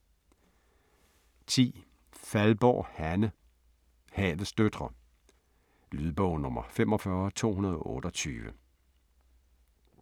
10. Faldborg, Hanne: Havets døtre Lydbog 45228